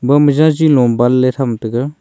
hom jajilom banley tham taiga.